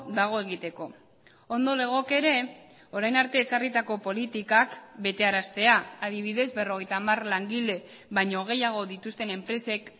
dago egiteko ondo legoke ere orain arte ezarritako politikak betearaztea adibidez berrogeita hamar langile baino gehiago dituzten enpresek